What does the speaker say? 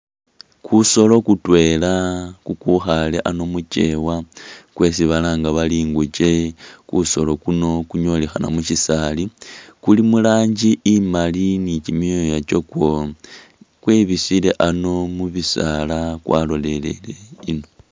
Kusolo kutwela kukwikhaale ano mu kyeewa kwesi balanga bari ingukye. Kusolo kuno kunyolekhana mu syisaali, kuli mu rangi imaali ni kimyooya kyakwo kwebisile ano mu bisaala kwalolelele ino.